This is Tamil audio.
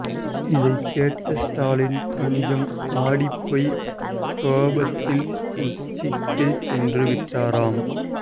இதை கேட்ட ஸ்டாலின் கொஞ்சம் ஆடிபோய் கோபத்தின் உச்சிக்கே சென்று விட்டாராம்